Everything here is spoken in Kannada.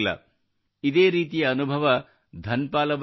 ಇದೇ ರೀತಿಯ ಅನುಭವ ಧನ್ ಪಾಲ್ ಅವರಿಗೂ ಆಗಿದೆ